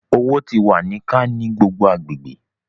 Owo ti wa ni ka ni gbogbo agbegbe